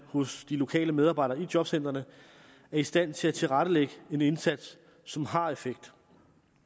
hos de lokale medarbejdere i jobcentrene er i stand til at tilrettelægge en indsats som har effekt